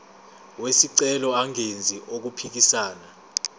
wesicelo engenzi okuphikisana